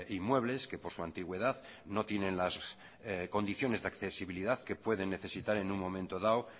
inmuebles que por su antigüedad no tienen las condiciones de accesibilidad que pueden necesitar en un momento dado